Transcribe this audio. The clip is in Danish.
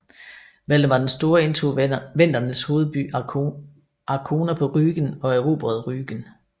Valdemar den Store indtog vendernes hovedby Arkona på Rügen og erobrede Rügen